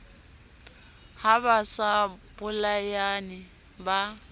ha ba sa bolayane ba